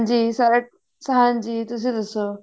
ਜੀ ਸਾਰੇ ਹਾਂਜੀ ਤੁਸੀਂ ਦੱਸੋ